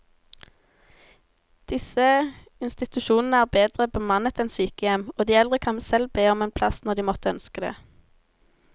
Disse institusjonene er bedre bemannet enn sykehjem, og de eldre kan selv be om en plass når de måtte ønske det.